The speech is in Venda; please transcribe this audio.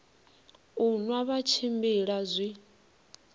u nwa vha tshimbila zwi